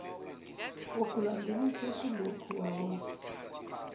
wokulandelisa kuloku wawuthi